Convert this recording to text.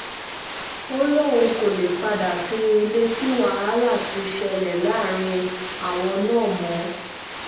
ó lóun kò lè padà sínú ilé tí wàhálà ti ń ṣẹlẹ̀ láàrin àwọn náà mọ́